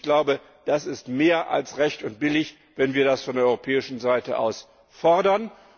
Ich glaube, es ist mehr als recht und billig, wenn wir das von der europäischen Seite aus fordern.